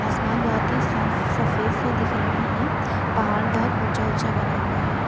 आसमान बहुत ही साफ सफेद सा दिख रहा है। पहाड़ बहुत ऊंचा ऊंचा बना हुआ है।